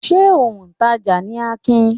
Ṣé òǹtajà ni Akin?